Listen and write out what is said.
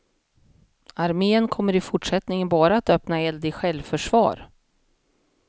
Armén kommer i fortsättningen bara att öppna eld i självförsvar.